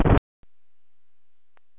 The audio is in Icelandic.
Er hún að biðja hann um að byrja með sér?